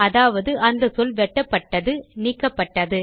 அதாவது அந்த சொல் வெட்டப்பட்டது நீக்கப்பட்டது